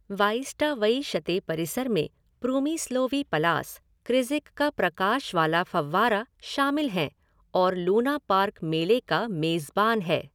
वाईस्टावइशते परिसर में प्रूमीस्लोवी पलास, क्रिज़िक का प्रकाश वाला फव्वारा शामिल हैं और लूनापार्क मेले का मेज़बान है।